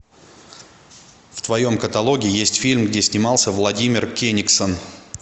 в твоем каталоге есть фильм где снимался владимир кенигсон